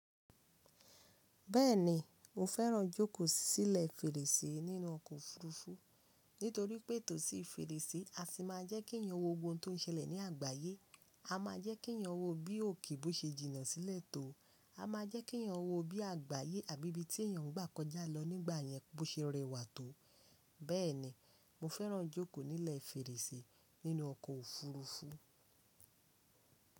Bẹ́ẹ̀ni mo fẹ́ràn jókòó sílẹ̀ fèrèsé nínú ọkọ̀ òfurufú nítorí pé tòsí fèrèsé a sì máa jẹ́ kí èèyàn wo ohun tó ń ṣẹlẹ̀ ní àgbáyé. A má jẹ́ kí èèyàn wo bí òkè bó ṣe jìnnà sílẹ̀ tó, a má jẹ́ kí èèyàn wo bí àgbáyé àbí bí tí èèyàn n gbà kọjá lọ nígbà yẹn bó ṣe rẹwà tó. Bẹ́ẹ̀ni mo fẹ́ràn jókòó nílẹ̀ fèrèsé nínú ọkọ̀ òfurufú.